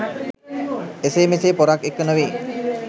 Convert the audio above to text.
එසේ මෙසේ පොරක් එක්ක නෙවේ